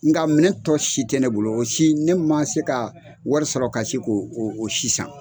Nka minɛ tɔ si tɛ ne bolo o si, ne ma se ka wari sɔrɔ ka se ko o si san.